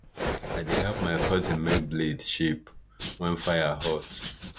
i dey help my cousin make blade shape wen fire hot